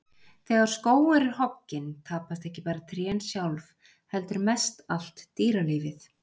Þegar skógur er hogginn, tapast ekki bara trén sjálf heldur mest allt dýralífið.